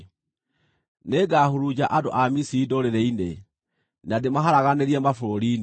Nĩngahurunja andũ a Misiri ndũrĩrĩ-inĩ, na ndĩmaharaganĩrie mabũrũri-inĩ.